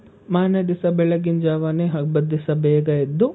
ಮಾರ್ನೆ ದಿವ್ಸ ಬೆಳಗ್ಗಿನ್ ಜಾವಾನೆ ಹಬ್ಬದ್ ದಿವ್ಸ ಬೇಗ ಎದ್ದು,